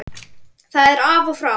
Það er af og frá.